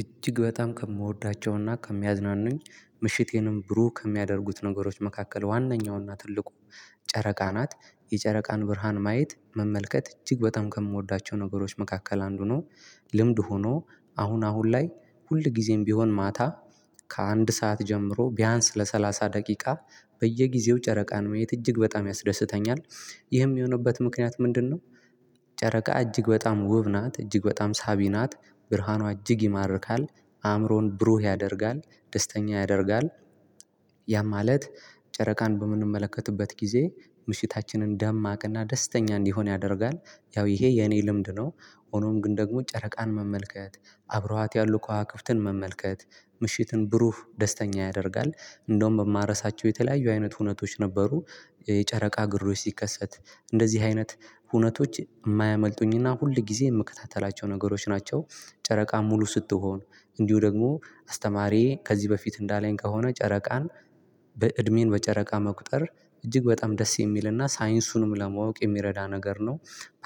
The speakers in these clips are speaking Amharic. እጅግ በጣም ከምወዳቸውና ከሚያዝናኑኝ ምሽቴንም ብሩህ ከሚያደርጉት ነገሮች መካከል ዋነኛውና ትልቁ ጨረቃ ናት የጨረቃን ብርሃን ማየት መመልከት እጅግ በጣም ከምወዳቸው ነገሮች መካከል አንዱ ነው። ልምድ ሁኖ አሁን አሁን ላይ ሁል ጊዜም ቢሆን ማታ ከአንድ ሰዓት ጀምሮ ቢያንስ ለሰላሳ ደቂቃ በየጊዜው ጨረቃን ማየት እጅግ በጣም ያስደስተኛል። ይህም የሚሆንበት ምክንያት ምንድነው? ጨረቃ እጅግ በጣም ውብ ናት እጅግ በጣም ሳቢ ናት። ብርሃኗ እጅግ ይማርካል። አእምሮን ብሩህ ያደርጋል ደስተኛ ያደርጋል። ያ ማለት ጨረቃን በምንመለከትበት ጊዜ ምሽታችንን ደማቅና ደስተኛ እንዲሆን ያደርጋል። ያው ይሄ የኔ ልምድ ነው። ሆኖም ግን ደግሞ ጨረቃን መመልከት አብረዋት ያሉ ከዋክብትን መመልከት ምሽትን ብሩህ ደስተኛ ያደርጋል። እንደውም የማረሳቸው የተለያዩ አይነት ሁነቶች ነበሩ። የጨረቃ ግርዶሽ ሲከሰት እንደዚህ አይነት ሁነቶች የማያመልጡኝና ሁል ጊዜ የምከታተላቸው ነገሮች ናቸው። ጨረቃ ሙሉ ስትሆን እንዲሁ ደግሞ አስተማሪዬ ከዚህ በፊት እንዳለኝ ከሆነ ጨረቃን በእድሜን በጨረቃ መቁጠር እጅግ በጣም ደስ የሚልና ሳይንሱንም ለማወቅ የሚረዳ ነገር ነው።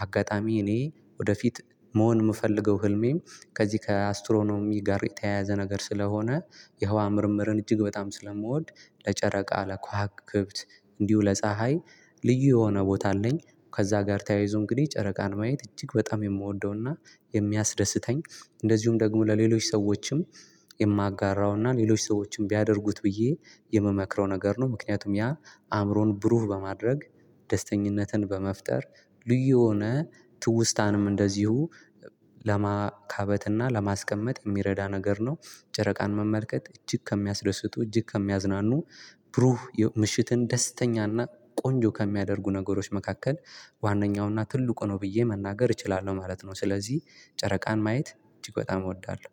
አጋጣሚ እኔ ወደፊት መሆን የምፈልገው ህልሜም ከዚህ ከአስትሮኖሚ ጋር የተያያዘ ነገር ስለሆነ የህዋ ምርምርን እጅግ በጣም ስለምወድ ለ ጨረቃ ለ ከዋክብት እንዲሁ ለ ፀሀይ ልዩ የሆነ ቦታ አለኝ። ከዛ ጋር ተያይዞ አንግዲህ ጨረቃን ማየት አጅግ በጣም የምወደውና የሚያስደስተኝ እንደዚሁም ደግሞ ለሌሎች ሰዎችም የማጋራውና ሌሎች ሰዎችም ቢያደርጉት ብዬ የምመክረው ነገር ነው። ምክንያቱም ያ አእምሮን ብሩህ በማድረግ ደስተኝነትን በመፍጠር ልዩ የሆነ ትውስታንም እንደዚሁ ለማካበት እና ለማስቀመጥ የሚረዳ ነገር ነው። ጨረቃን መመልከት እጅግ ከሚያስደስቱ እጅግ ከሚያዝናኑ ብሩህ ምሽትን ደስተኛና ቆንጆ ከሚያደርጉ ነገሮች መካከል ዋናኛውና ትልቁ ነው ብዬ መናገር እችላለሁ ማለት ነው። ስለዚህ ጨረቃን ማየት አጅግ በጣም እወዳለሁ።